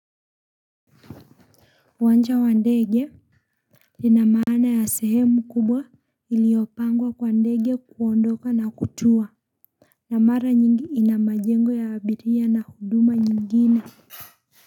Wancha wa ndege lina maana ya sehemu kubwa iliopangwa kwa ndege kuondoka na kutua. Na mara nyingi ina majengo ya abiria na huduma nyingine.